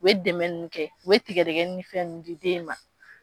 U dɛmɛ ninnu kɛ u bɛ tigadɛgɛnin di den ma